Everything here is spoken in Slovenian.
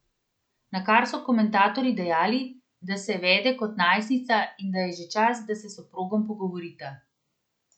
Na kar so komentatorji dejali, da se vede kot najstnica in da je že čas, da se s soprogom pogovorita.